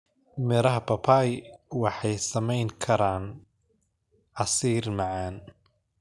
Miraha papai waxay samayn karaan casiir macaan.